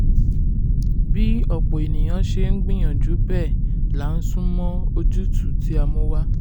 bí ọ̀pọ̀ ènìyàn ṣe ń gbìyànjú bẹ́ẹ̀ la ń sún mọ́ ojútùú tí a mú wá.